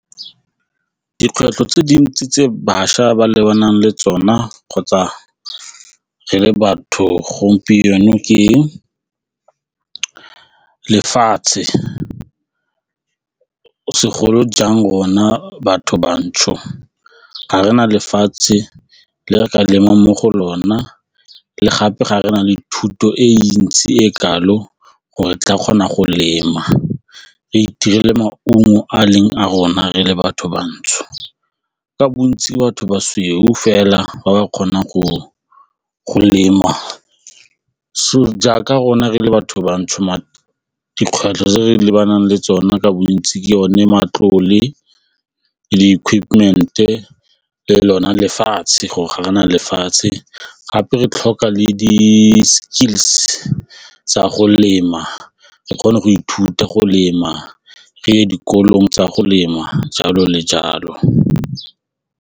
Dikgwetlho tse dintsi tse bašwa ba lebanang le tsona kgotsa re le batho gompieno ke lefatshe segolo jang rona batho bantsho ga re na lefatshe le re ka lemang mo go lona le gape ga re na le thuto e ntsi e kalo gore re tla kgona go lema re itemele maungo a leng a rona re le batho bantsho ka bontsi, batho ba sweu fela ba ba kgonang go lema so jaaka rona re le batho ba ntsho se tsa dikgwetlho tse re lebanang le tsone ka bontsi ke yone matlole, di-equipment-e le lona lefatshe ga rena lefatshe gape re tlhoka le di tsa go lema re kgone go ithuta go lema re ye dikolong tsa go lema jalo le jalo.